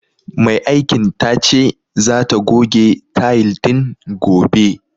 Mai aikin tace zata goge tayil din gobe.